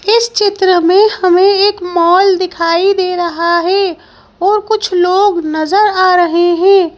इस चित्र में हमें एक मॉल दिखाई दे रहा है और कुछ लोग नजर आ रहे हैं।